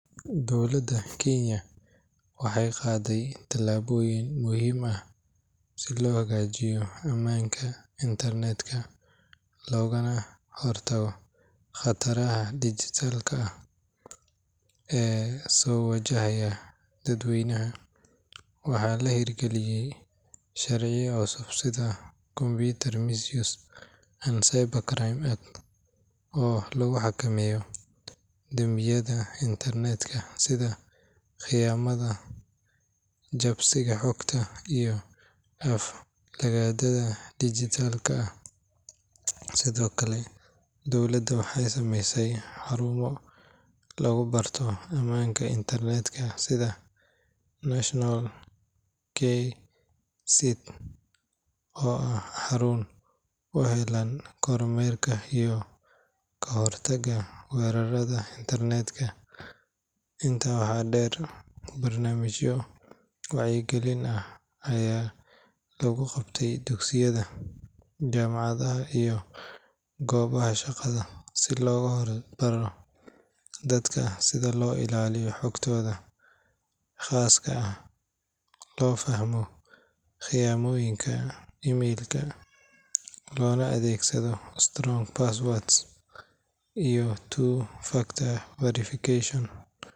Dowladda Kenya waxay qaaday tallaabooyin muhiim ah si loo hagaajiyo ammaanka internetka loogana hortago khataraha dhijitaalka ah ee soo wajahaya dadweynaha. Waxaa la hirgeliyay sharciyo cusub sida Computer Misuse and Cybercrimes Act oo lagu xakameeyo dambiyada internetka sida khiyaanada, jabsiga xogta, iyo aflagaadada dhijitaalka ah. Sidoo kale, dowladda waxay sameysay xarumo lagu barto ammaanka internetka sida National KE-CIRT oo ah xarun u heellan kormeerka iyo ka hortagga weerarada internetka. Intaa waxaa dheer, barnaamijyo wacyigelin ah ayaa lagu qabtay dugsiyada, jaamacadaha iyo goobaha shaqada si loogu baro dadka sida loo ilaaliyo xogtooda khaaska ah, loo fahmo khiyaanooyinka email-ka, loona adeegsado strong passwords iyo two-factor authentication.